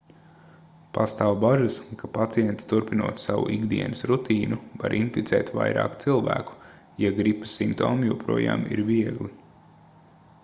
pastāv bažas ka pacienti turpinot savu ikdienas rutīnu var inficēt vairāk cilvēku ja gripas simptomi joprojām ir viegli